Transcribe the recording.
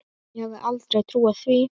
Ég hefði aldrei trúað því.